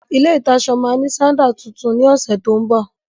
ilé ìtaṣọ ma ní sádà tuntun ní ọ̀sẹ̀ tó ń bọ̀.